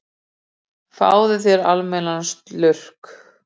Fáðu þér almennilegan slurk!